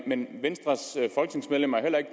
men venstres folketingsmedlemmer er